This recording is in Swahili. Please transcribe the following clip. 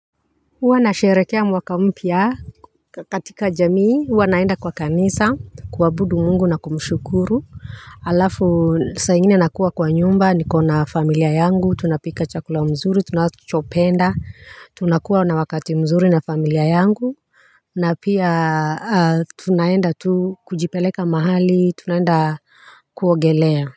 Huwa nasherehekea mwaka mpya katika jamii huwa naenda kwa kanisa kuabudu mungu na kumshukuru. Halafu saa ingine nakuwa kwa nyumba niko na familia yangu tunapika chakula mzuri tunachopenda tunakuwa na wakati mzuri na familia yangu. Na pia tunaenda tu kujipeleka mahali tunaenda kuogelea.